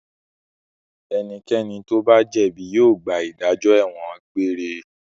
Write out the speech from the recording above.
Ẹnikẹ́ni tó bá jẹ̀bi yóò gba ìdájọ́ ẹ̀wọ̀n egbére.